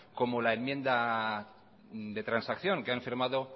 como la enmienda de transacción que han firmado